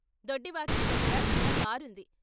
దొడ్డివాకిలి దగ్గర చిన్నకారుంది.